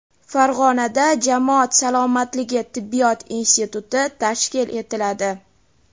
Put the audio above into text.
Farg‘onada jamoat salomatligi tibbiyot instituti tashkil etiladi.